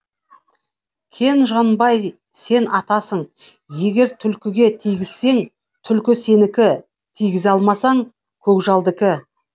кен жанбай сен атасың егер түлкіге тигізсең түлкі сенікі тигізе алмасаң көкжалдікі